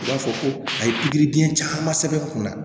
U b'a fɔ ko a ye pikiribiyɛn caman sɛbɛn n kunna